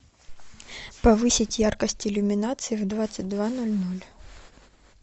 повысить яркость иллюминации в двадцать два ноль ноль